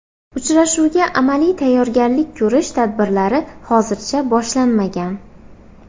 Uchrashuvga amaliy tayyorgarlik ko‘rish tadbirlari hozircha boshlanmagan.